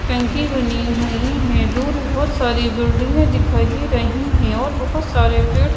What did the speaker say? टंकी बनी हुई हैं दूर बहोत सारी बिल्डिंगे दिखाई दे रही हैं और बहोत सारे पेड़--